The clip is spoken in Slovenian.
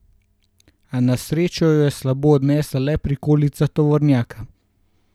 A na srečo jo je slabo odnesla le prikolica tovornjaka.